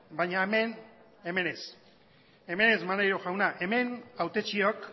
baina hemen hemen ez hemen ez maneiro jauna hemen hautetxiok